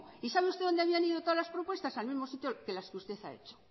y sabe usted dónde habían ido todas las propuestas al mismo sitio que las que usted ha hecho